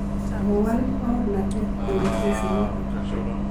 kowal baornatet eng kesit notok.